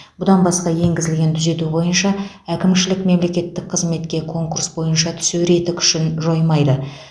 бұдан басқа енгізілген түзету бойынша әкімшілік мемлекеттік қызметке конкурс бойынша түсу реті күшін жоймайды